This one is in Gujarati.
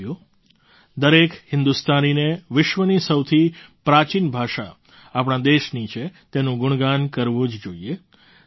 સાથીઓ દરેક હિન્દુસ્તાનીને વિશ્વની સૌથી પ્રાચીન ભાષા આપણા દેશની છે તેનું ગુણગાન કરવું જ જોઈએ